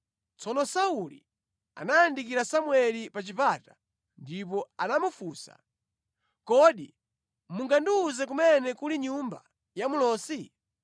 Tsono Sauli anayandikira Samueli pa chipata ndipo anamufunsa, “Kodi mungandiwuze kumene kuli nyumba ya mlosi?”